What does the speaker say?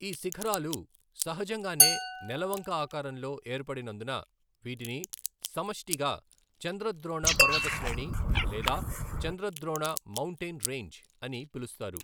ఈ శిఖరాలు సహజంగానే నెలవంక ఆకారంలో ఏర్పడినందున వీటిని సమష్టిగా చంద్రద్రోణ పర్వత శ్రేణి లేదా చంద్రద్రోణ మౌంటేన్ రేంజ్ అని పిలుస్తారు.